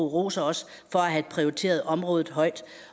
roser os for at have prioriteret området højt